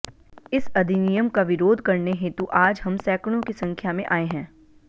इस अधिनियमका विरोध करने हेतु आज हम सैकडोंकी संख्यामें आए हैं